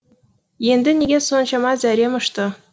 енді неге соншама зәрем ұшты